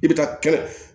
I bɛ taa kɛnɛ